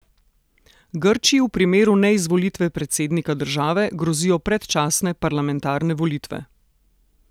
Grčiji v primeru neizvolitve predsednika države grozijo predčasne parlamentarne volitve.